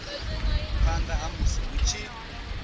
phanda ha musi hu tshi